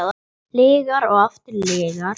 Lygar og aftur lygar.